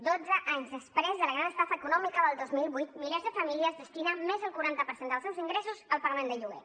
dotze anys després de la gran estafa econòmica del dos mil vuit milers de famílies destinen més del quaranta per cent dels seus ingressos al pagament del lloguer